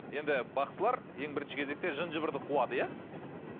енді бақсылар ең бірінші кезекте жын жыбырды қуады иә